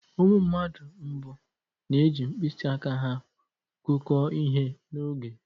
Ụmụ mmadụ mbụ na-eji mkpịsị aka ha gụkọọ ihe na oge.